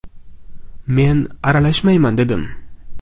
Men aralashmayman dedim.